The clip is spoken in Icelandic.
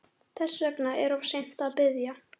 Þess vegna er of seint að biðja